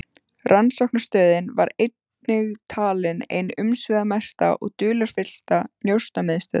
Rannsóknarstöðin var einnig talin ein umsvifamesta og dularfyllsta njósnamiðstöð